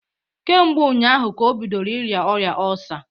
Kemgbe ụnyaahụ ka o bidoro ịrịa ọrịa ọlsa